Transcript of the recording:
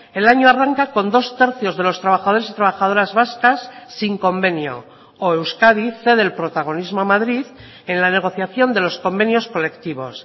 el año arranca con dos tercios de los trabajadores y trabajadoras vascas sin convenio o euskadi cede el protagonismo a madrid en la negociación de los convenios colectivos